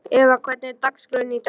Eva, hvernig er dagskráin í dag?